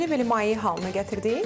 Mərcini belə maye halına gətirdik.